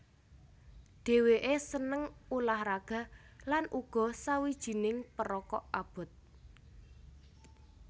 Dhèwèké seneng ulah raga lan uga sawijining perokok abot